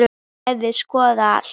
En ég hefði skoðað allt.